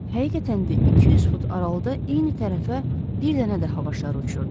Həqiqətən də 200 fut aralıda eyni tərəfə bir dənə də hava şarı.